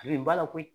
A bɛ ba la koyi